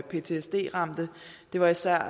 ptsd ramte det var især